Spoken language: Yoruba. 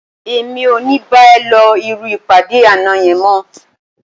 Èmi ò ní bá ẹ lọ irú ìpàdé àná yẹn mọ́